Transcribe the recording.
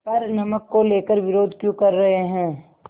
पर नमक को लेकर विरोध क्यों कर रहे हैं